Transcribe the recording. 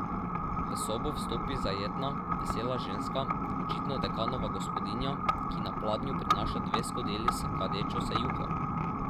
V sobo vstopi zajetna, vesela ženska, očitno dekanova gospodinja, ki na pladnju prinaša dve skodeli s kadečo se juho.